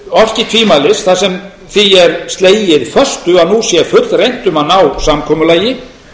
orki tvímælis þar sem því er slegið föstu um að nú sé fullreynt um að ná samkomulagi